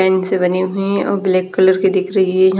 tent से बनी हुईं और ब्लैक कलर की दिख रही है य--